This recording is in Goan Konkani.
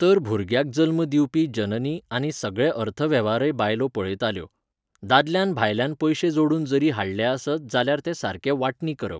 तर भुरग्याक जल्म दिवपी जननी आनी सगळे अर्थवेव्हारय बायलो पळयताल्यो. दादल्यान भायल्यान पयशे जोडून जरी हाडले आसत जाल्यार ते सारके वांटणी करप.